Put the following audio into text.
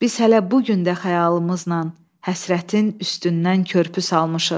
Biz hələ bu gün də xəyalımızla həsrətin üstündən körpü salmışıq.